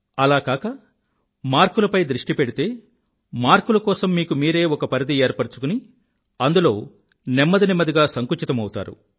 అలా కాక మార్కులపై దృష్టి పెడితే మార్కుల కోసం మీకు మీరే ఒక పరిధి ఏర్పరుచుకుని అందులో నెమ్మదినెమ్మదిగా సంకుచితమౌతారు